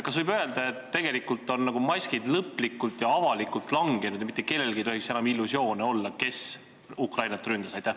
Kas võib öelda, et tegelikult on maskid lõplikult ja avalikult langenud ning mitte kellelgi ei tohiks enam olla illusioone selles, kes Ukrainat ründas?